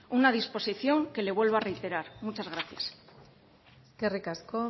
una disposición que le vuelvo a reiterar muchas gracias eskerrik asko